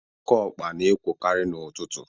Okeokpa na-ekwokarị n'ụtụtụ.